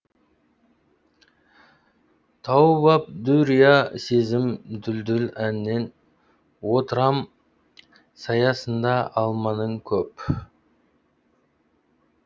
тауып ап дүрия сезім дүлділ әннен отырам саясында алманың көп